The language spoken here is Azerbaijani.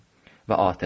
Və atəşdir.